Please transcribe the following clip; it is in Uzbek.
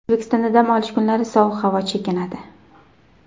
O‘zbekistonda dam olish kunlari sovuq havo chekinadi.